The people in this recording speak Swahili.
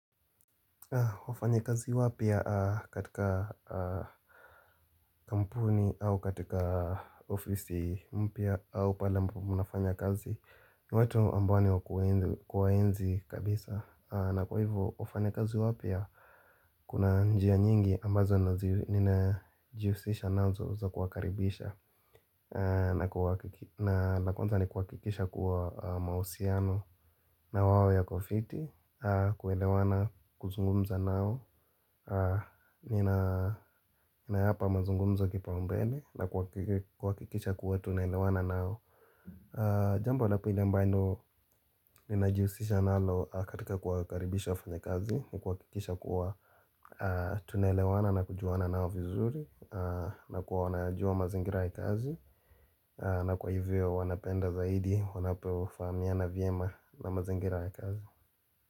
Wafanya kazi wapia katika kampuni au katika ofisi mpya au pale ambapo munafanya kazi ni watu ambao wa kuwaenzi kabisa na kwa hivu wafanya kazi wapya Kuna njia nyingi ambazo ninajiusisha nazo za kuwakaribisha na la kwanza ni kuwakikisha kuwa mausiano na wawo yako fiti kuelewana kuzungumza nao Ninaapa mazungumza kipa mbele na kwa kikisha kuwa tunelewana nao Jambo la pili ambalo ninajiusisha nalo katika kuwa yukaribisha wafanya kazi ni kwa kikisha kuwa tunelewana na kujuana nao vizuri na kuwa wanajua mazingira ya kazi na kwa hivyo wanapenda zaidi wanapewa famiana vima na mazingira ya kazi.